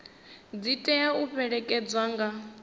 dzi tea u fhelekedzwa nga